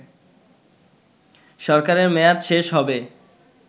সরকারের মেয়াদ শেষ হবে